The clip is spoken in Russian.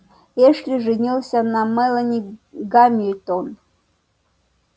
эшли женился на мелани гамильтон